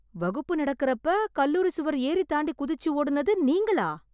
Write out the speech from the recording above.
வகுப்பு நடக்கறப்ப கல்லூரி சுவர் ஏறித் தாண்டி குதிச்சு ஓடுனது நீங்களா?